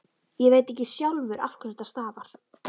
Ég veit ekki sjálfur af hverju þetta stafar.